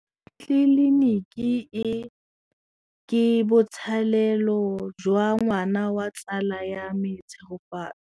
Tleliniki e, ke botsalêlô jwa ngwana wa tsala ya me Tshegofatso.